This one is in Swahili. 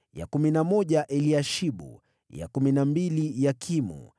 ya kumi na moja Eliashibu, ya kumi na mbili Yakimu,